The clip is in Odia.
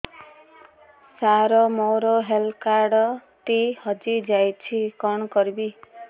ସାର ମୋର ହେଲ୍ଥ କାର୍ଡ ଟି ହଜି ଯାଇଛି କଣ କରିବି